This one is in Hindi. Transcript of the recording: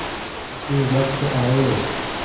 उसी वक्त आये